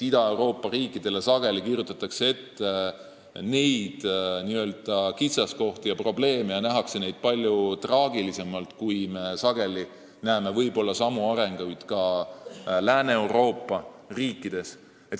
Ida-Euroopa riikidele heidetakse sageli ette n-ö kitsaskohti ja probleeme ning nähakse neid palju traagilisemalt võrreldes sellega, kui samad arengud esinevad Lääne-Euroopa riikides.